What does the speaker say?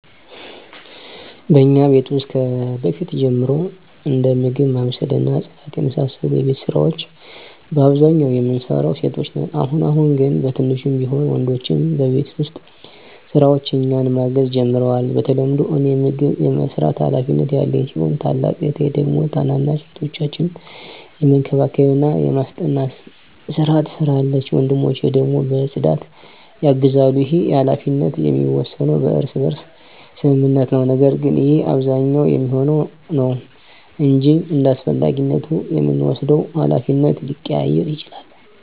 በእኛ ቤት ውስጥ ከበፊት ጀምሮ እንደ ምግብ ማብሰል እና ጽዳት የመሳሰሉ የቤት ስራወች በአብዛኛው የምንሰራው ሴቶች ነን። አሁን አሁን ግን በትንሹም ቢሆን ወንድሞቸ በቤት ውስጥ ስራዎች እኛን ማገዝ ጀምረዋል። በተለምዶ እኔ ምግብ የመስራት ሀላፊነት ያለኝ ሲሆን ታላቅ እህቴ ደግሞ ታናናሽ እህቶቻችንን የመንከባከብና የማስጠናት ስራ ትሰራለች። ወንድሞቸ ደግሞ በፅዳት ያግዛሉ። ይህ ሀላፊነት የሚወሰነው በእርስ በርስ ስምምነት ነው። ነገር ግን ይህ በአብዛኛው የሚሆነው ነው እንጅ እንዳስፈላጊነቱ የምንወስደው ሀላፊነት ሊቀያየር ይችላል።